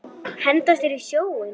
Henda sér í sjóinn?